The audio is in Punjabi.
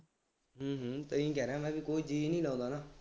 ਹੂੰ ਹੂੰ ਤਾਂ ਹੀ ਕਹਿ ਰਿਹਾਂ ਮੈਂ ਕਿਹਾ ਕੋਈ ਜੀਅ ਨਹੀਂ ਲਾਉਂਦਾ ਨਾ